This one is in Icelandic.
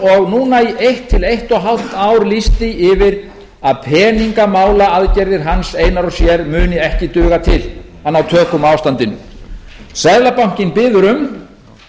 og núna í eitt til eins hálft ár lýst því yfir að peningamálaaðgerðir hans einar og sér munu ekki duga til að ná tökum á ástandinu seðlabanka biður um